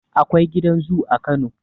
Akwai gidan zu a kano